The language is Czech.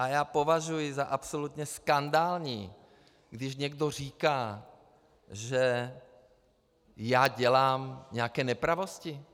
A já považuji za absolutně skandální, když někdo říká, že já dělám nějaké nepravosti.